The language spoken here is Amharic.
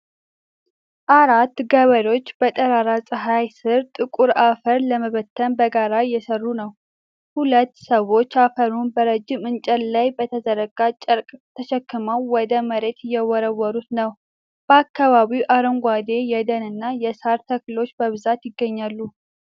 አራት ገበሬዎች በጠራራ ፀሐይ ስር ጥቁር አፈር ለመበተን በጋራ እየሰሩ ነው። ሁለት ሰዎች አፈሩን በረጅም እንጨት ላይ በተዘረጋ ጨርቅ ተሸክመው ወደ መሬት እየወረወሩት ነው። በአካባቢው አረንጓዴ የደን እና የሳር ተክሎች በብዛት ይገኛሉ።